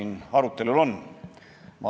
Iga hääl on hea, kui viib eduni.